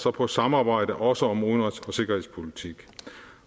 og på samarbejde også om udenrigs og sikkerhedspolitik